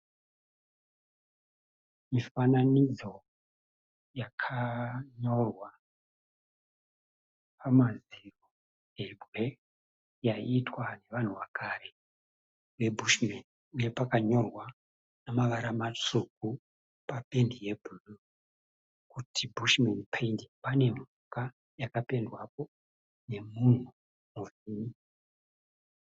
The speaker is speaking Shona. Mifananidzo yakanyorwa pamadziro ebwe yaiitwa nevanhu vekare ve(bushmen) uye pakanyorwa nemavara matsvuku papendi yebhuruu kuti( bushmen painting). Pane mhuka yakapendwapo nemunhu